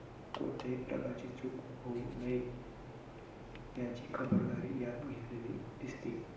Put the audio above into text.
कोणतेही प्रकारची चूक होऊ नये याची खबरदारी यात घेतलेली दिसते.